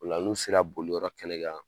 Ola n'u sera boliyɔrɔ kɛnɛ kan